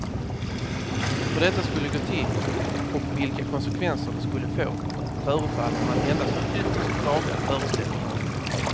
Hur detta skulle gå till och vilka konsekvenser det skulle få förefaller man endast ha ytterst vaga föreställningar om.